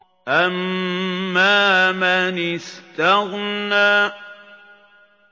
أَمَّا مَنِ اسْتَغْنَىٰ